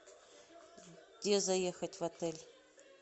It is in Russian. где заехать в отель